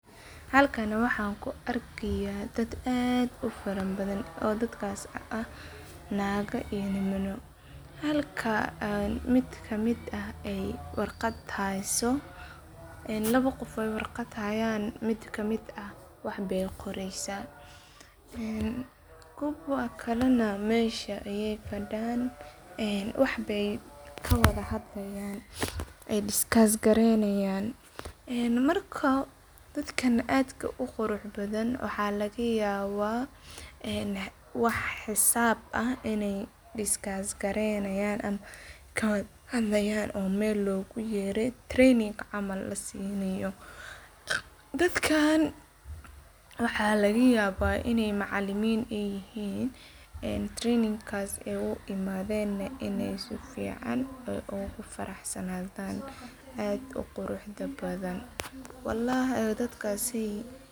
Halkan waxan ku arkaya daad aad u fara badhan oo daadkas ah naaga iyo nimanoo. Halka ad mid ka mid ah aay warqad hayso ee lawa qof ooy warqad hayan mid ka mid ah wax baay qoreysa een kuwa kale na meesha aya fadan ee wax baay ka wadha hadlayan ay diskas-gareynayan. Eeen marka daadkan aadka u qurux badhan waxa laga yawaa een wax xisaab ah in aay diskas-gareynayan mise ka wadha hadlayan oo meel loogu yeere training cml la sii naayo, daadkan waxa laga yawa in aay macalimiin ay yihiin een trainikas ay u imadheen in aay si fican oogu farax sa nadhan aad u quruxda badhan, walahi daadkasey.